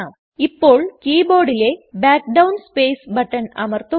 ഇപ്പോൾ കീ ബോർഡിലെ back down space button അമർത്തുക